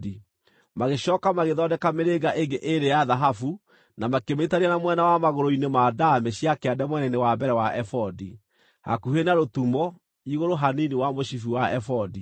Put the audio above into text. Magĩcooka magĩthondeka mĩrĩnga ĩngĩ ĩĩrĩ ya thahabu na makĩmĩnyiitithania na mwena wa magũrũ-inĩ ma ndaamĩ cia kĩande mwena-inĩ wa mbere wa ebodi, hakuhĩ na rũtumo, igũrũ hanini wa mũcibi wa ebodi.